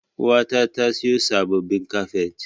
Uwata ta siyo sabbabin kafet.